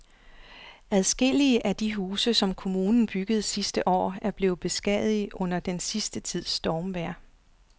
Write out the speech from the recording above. Adskillige af de huse, som kommunen byggede sidste år, er blevet beskadiget under den sidste tids stormvejr.